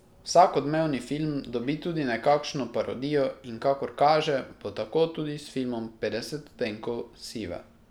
Vsak odmevni film dobi tudi nekakšno parodijo in kakor kaže, bo tako tudi s filmom Petdeset odtenkov sive.